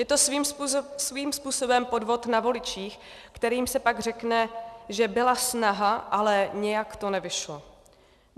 Je to svým způsobem podvod na voličích, kterým se pak řekne, že byla snaha, ale nějak to nevyšlo.